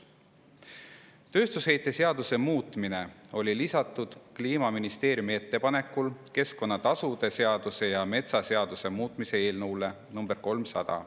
Tööstusheite seaduse muutmine oli lisatud Kliimaministeeriumi ettepanekul keskkonnatasude seaduse ja metsaseaduse muutmise eelnõusse nr 300.